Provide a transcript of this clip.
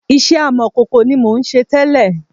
Iṣẹ́ amọ̀kòkò ni mò ń ṣe tẹ́lẹ̀